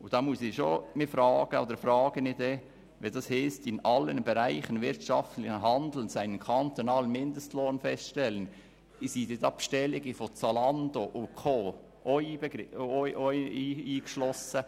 Wenn es heisst: «Der Regierungsrat legt in allen Bereichen wirtschaftlichen Handelns einen kantonalen Mindestlohn fest.», sind dann die Bestellungen von Zalando & Co. auch darin eingeschlossen?